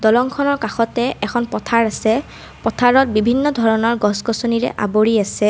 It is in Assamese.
দলংখনৰ কাষতে এখন পথাৰ আছে পথাৰত বিভিন্ন ধৰণৰ গছ- গছনিৰে আৱৰি আছে।